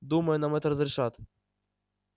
думаю нам это разрешат